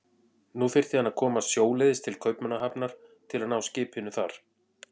Nú þyrfti hann að komast sjóleiðis til Kaupmannahafnar til að ná skipinu þar.